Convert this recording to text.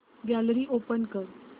gallery open कर